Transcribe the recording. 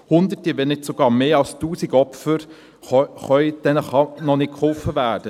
Hunderten, wenn nicht sogar mehr als tausend Opfern kann nicht geholfen werden.